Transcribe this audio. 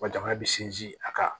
Wa jamana bi sinsin a kan